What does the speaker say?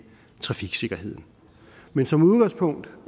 trafiksikkerheden men som udgangspunkt